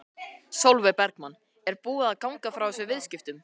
Sólveig Bergmann: Er búið að ganga frá þessum viðskiptum?